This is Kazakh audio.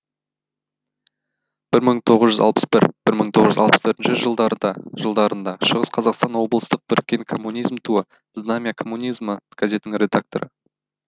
бір мың тоғыз жүз алпыс бір бір мың тоғыз жүз алпыс төртінші жылдарында шығыс қазақстан облыстық біріккен коммунизм туы знамя коммунизма газетінің редакторы